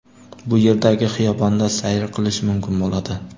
Bu yerdagi xiyobonda sayr qilish mumkin bo‘ladi.